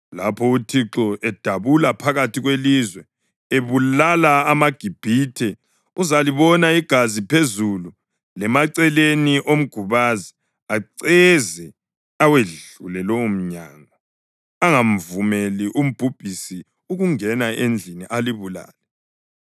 Lapho uThixo edabula phakathi kwelizwe ebulala amaGibhithe uzalibona igazi phezulu lemaceleni omgubazi, aceze awedlule lowomnyango angamvumeli umbhubhisi ukungena endlini alibulale.